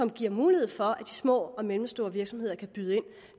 giver mulighed for at de små og mellemstore virksomheder kan byde ind